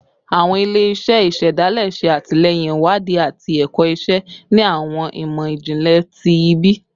Awọn ile-iṣẹ isedale ṣe atilẹyin iwadii ati ẹkọ iṣe ni awọn imọ-jinlẹ ti ibi